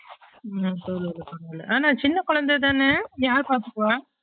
உம் ஓ ஓ ஆனா சின்ன குழந்த தான யார் பாத்துப்பா